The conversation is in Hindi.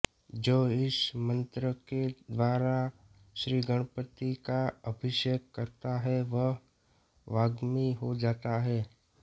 जो इस मन्त्र के द्वारा श्रीगणपति का अभिषेक करता है वह वाग्मी हो जाता है